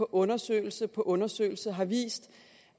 undersøgelse på undersøgelse har vist